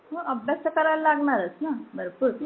अभ्यास तर करायला लागणारच ना भरपूर